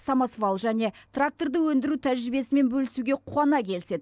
самосвал және тракторды өндіру тәжірибесімен бөлісуге қуана келіседі